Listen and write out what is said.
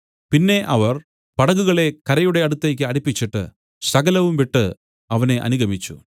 പിന്നെ അവർ പടകുകളെ കരയുടെ അടുത്തേക്ക് അടുപ്പിച്ചിട്ടു സകലവും വിട്ടു അവനെ അനുഗമിച്ചു